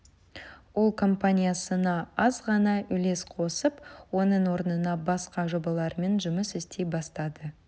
ол компаниясына аз ғана үлес қосып оның орнына басқа жобалармен жұмыс істей бастады